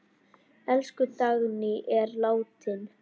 Elsku Dagný er látin.